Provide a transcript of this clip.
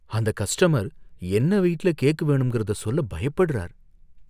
அந்த கஸ்டமர் என்ன வெயிட்ல கேக் வேணும்ங்கிறத சொல்ல பயப்படறார்.